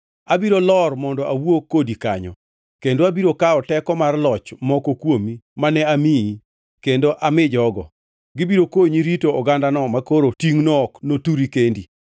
Abiro lor mondo awuo kodi kanyo, kendo abiro kawo teko mar loch moko kuomi mane amiyi kendo ami jogo. Gibiro konyi rito ogandano makoro tingʼno ok noturi kendi.